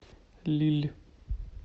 лилль